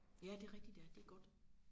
Ja det rigtigt ja det godt